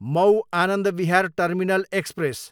Mau, Anand Vihar terminal express